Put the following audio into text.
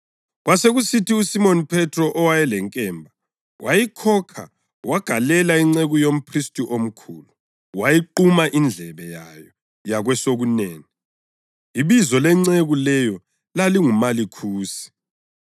Kwasekusithi uSimoni Phethro owayelenkemba, wayikhokha wagalela inceku yomphristi omkhulu, wayiquma indlebe yayo yakwesokunene. (Ibizo lenceku leyo lalinguMalikhusi.)